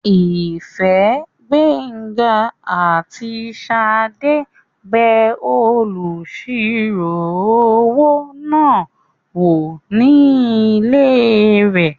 Ìfẹ́, Gbénga àti Ṣadé bẹ olùsirò-owó náà wò ní ilé rẹ̀